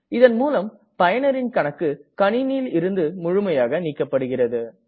இதன் மூலம் பயனரின் கணக்கு கணினியில் இருந்து முழுமையாக நீக்கப்படுகிறது